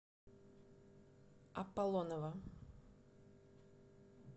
апполонова